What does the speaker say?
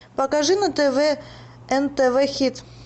покажи на тв нтв хит